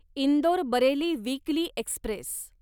Indore Bareilly weekly Express